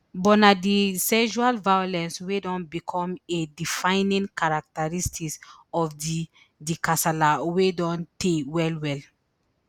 but na di sexual violence wey don bicom a defining characteristic of di di kasala wey don tey wellwell